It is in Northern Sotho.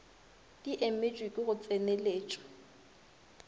di emetšwe ke go tseneletšwa